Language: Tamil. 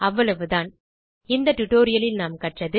அவ்வளவு தான்இந்த டியூட்டோரியல் லில் நாம் கற்றது